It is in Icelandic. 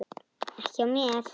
Ekki hjá mér.